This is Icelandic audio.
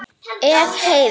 Ef. Heiðar